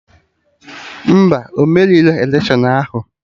Mba, ọ merirọ electiọnụ ahụ